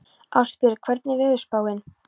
Ástbjörg, hvernig er veðurspáin?